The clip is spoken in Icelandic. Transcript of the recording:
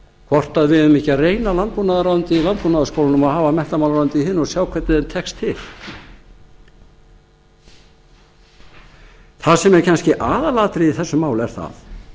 hvort við eigum ekki að reyna landbúnaðarráðuneytið í landbúnaðarskólunum og hafa menntamálaráðuneytið í hinum og sjá hvernig þeim tekst til það sem er kannski aðalatriðið í þessu máli er það